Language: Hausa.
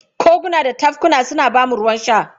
Koguna da tafkuna suna ba mu ruwan sha.